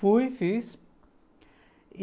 Fui, fiz.